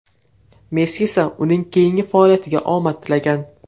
Messi esa uning keyingi faoliyatiga omad tilagan.